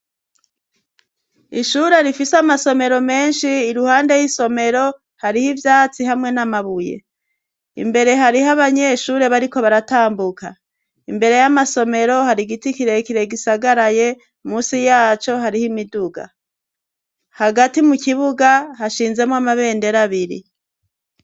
Ishure rifise amasomero menshi, iruhande y'isomero hariho ivyatsi hamwe n'amabuye. Imbere hariho abanyeshure bariko baratambuka. Imbere y'amasomero hari igiti kirekire gisagaraye, munsi yaco hariho imiduga. Hagati mu kibuga hashinzemwo amabendera abiri.